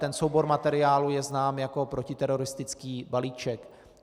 Ten soubor materiálů je znám jako protiteroristický balíček.